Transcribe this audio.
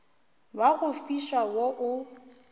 wa go fiša wo o